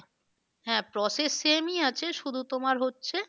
হ্যাঁ process same ই আছে শুধু তোমার হচ্ছে।